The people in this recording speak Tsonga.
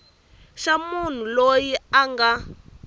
xa munhu loyi a nga